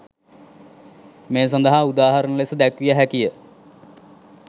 මේ සඳහා උදාහරණ ලෙස දැක්විය හැකි ය.